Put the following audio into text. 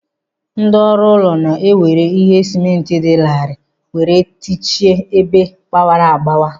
Ndị ọrụ ụlọ na e were ihe sịmentị dị larịị were techie ebe gbawara agbawa.